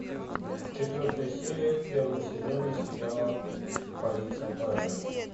четвертая серия первого сезона сериала полиция парадайз